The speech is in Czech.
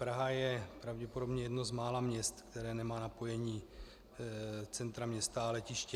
Praha je pravděpodobně jedno z mála měst, které nemá napojení centra města a letiště.